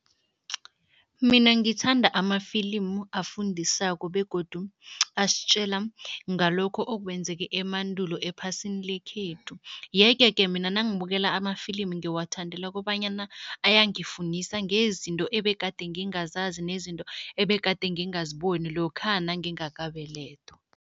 Mina ngithanda amafilimu afundisako begodu asitjela ngalokho okwenzeke emandulo ephasini lekhethu yeke-ke mina nangibukela amafilimu ngiwathandela kobanyana ayangifundisa ngezinto ebegade ngingazazi nezinto ebegade ngingaziboni lokha nangingakabelethwa.